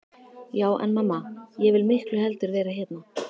Já en mamma, ég vil miklu heldur vera hérna.